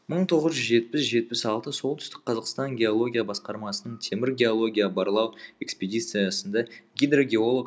мың тоғыз жүз жетпіс жетпіс алты солтүстік қазақстан геология басқармасының темір геология барлау экспедициясында гидрогеолог